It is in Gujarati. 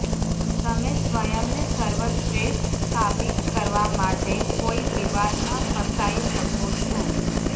તમે સ્વયંને સર્વશ્રેષ્ઠ સાબિત કરવા માટે કોઇ વિવાદમાં ફસાઇ શકો છો